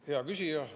Hea küsija!